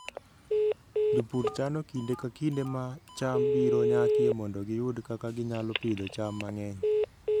Jopur chano kinde ka kinde ma cham biro nyakie mondo giyud kaka ginyalo pidho cham mang'eny.